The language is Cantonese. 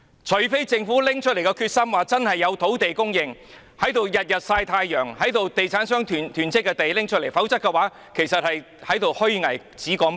除非政府真的下定決心確保有土地供應，動用現時天天"曬太陽"和地產商囤積的土地，否則便是虛偽，只說不做。